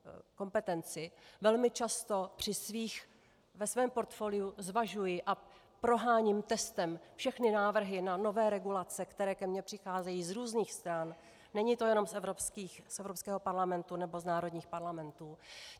Velmi často ve svém portfoliu zvažuji a proháním testem všechny návrhy na nové regulace, které ke mně přicházejí z různých stran, není to jenom z Evropského parlamentu nebo z národních parlamentů.